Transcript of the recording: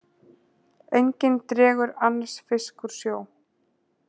Enginn dregur annars fisk úr sjó.